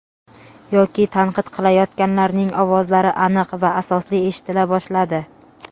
yoki tanqid qilayotganlarning ovozlari aniq va asosli eshitila boshladi.